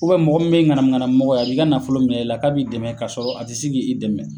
U bɛ mɔgɔ min be ŋanamu ŋanamu mɔgɔ ye a b'i ka nafolo minɛ i la a b'a fɔ k'a b'i dɛmɛ k'a sɔrɔ a te se k'i dɛmɛ